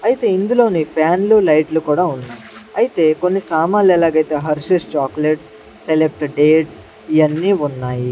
అయితే ఇందులోనే ఫ్యాన్లు లైట్లు కూడా ఉన్నాయి అయితే కొన్ని సామాన్లు ఎలాగైతే హెర్షిస్ చాక్లెట్స్ సెలెక్ట్ డేట్స్ ఇయన్నీ ఉన్నాయి.